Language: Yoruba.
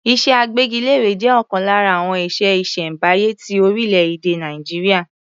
Iṣẹ́ agbẹ́gilére jẹ́ ọ̀kan lára àwọn iṣẹ́ ìṣẹ̀m̀báyé ti orílẹ̀-èdè Nàìjíríà.